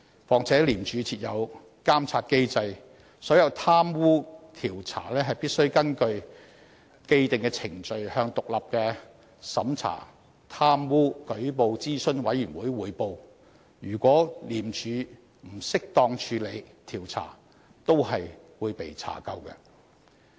況且廉署設有監察機制，所有貪污調查工作必須根據既定程序向獨立的審查貪污舉報諮詢委員會匯報，如果廉署不適當處理調查也是會被查究的。